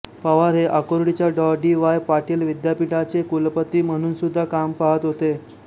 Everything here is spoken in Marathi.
पवार हे आकुर्डीच्या डॉ डी वाय पाटील विद्यापीठाचे कुलपती म्हणूनसुद्धा काम पाहात होते